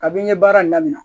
Kabini n ye baara in daminɛ